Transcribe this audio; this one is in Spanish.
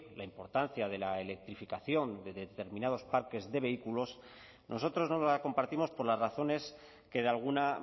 la importancia de la electrificación de determinados parques de vehículos nosotros no la compartimos por las razones que de alguna